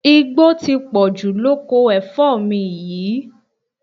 Igbó ti pọ̀jù lóko ẹ̀fọ́ mi yìí